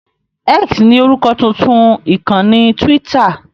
X ni orúkọ tuntun ìkànnì Twitter.